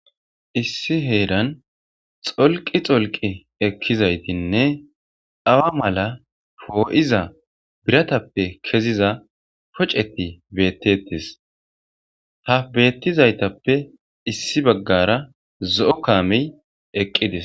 Issi heeran xolqi xolqi ekkizaytinne awa mala foo'iza biratappe keziza poceti beettetis ha beettizaytappe issi baggara zo'o kaamey eqqidis.